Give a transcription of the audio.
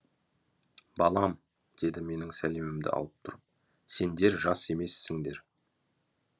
балам деді менің сәлемімді алып тұрып сендер жас емессіңдер